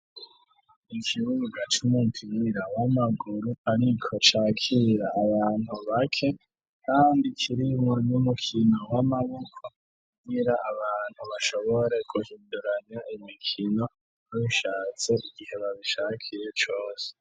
Ikibuga c'umupira w'amaguru ariko cakira abantu bake kandi kirimwo n'umukino w'amaboko kugira abantu bashobore guhindurana imikino nishatse igihe babishakiye cose.